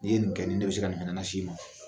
Ni ye nin kɛ, nin ne bi se ka nin fana nasi i ma .